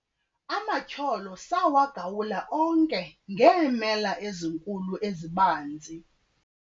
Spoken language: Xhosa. amatyholo sawagawula onke ngeemela ezinkulu ezibanzi